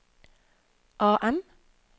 AM